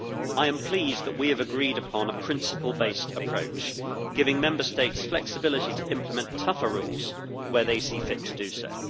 I am pleased that we have agreed upon a principle based approach giving Member States flexibility to implement tougher rules where they see fit to do so.